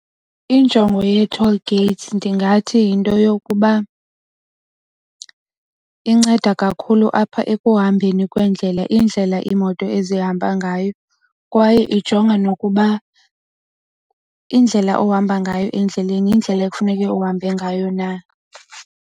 Injongo yee-toll gates ndingathi yinto yokuba inceda kakhulu apha ekuhambeni kweendlela iindlela iimoto ezihamba ngayo kwaye ijonga nokuba indlela ohamba ngayo endleleni yindlela ekufuneke uhambe ngayo na.